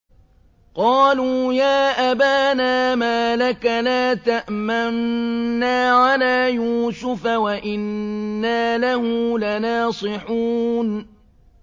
قَالُوا يَا أَبَانَا مَا لَكَ لَا تَأْمَنَّا عَلَىٰ يُوسُفَ وَإِنَّا لَهُ لَنَاصِحُونَ